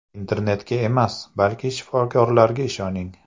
Internetga emas, balki shifokorlarga ishoning!